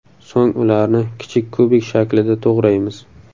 So‘ng ularni kichik kubik shaklida to‘g‘raymiz.